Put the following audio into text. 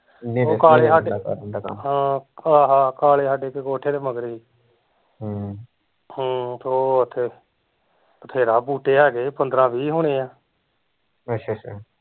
ਓਹ ਕਾਲੇ ਸਾਡੇ ਕਾਲੇ ਸਾਡੇ ਦੇ ਕੋਠੇ ਕੇ ਮਗਰ ਸੀ ਹਮ ਹਮ ਤੇ ਓਹ ਓਥੇ ਵਧੇਰਾ ਬੂਟੇ ਹੈਗੇ ਸੀ ਪੰਦਰਾਂ ਵੀਹ ਹੁਣੇ ਆ